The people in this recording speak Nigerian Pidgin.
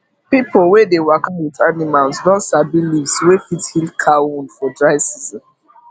pipo wey dey waka with animals don sabi leaves wey fit heal cow wound for dry season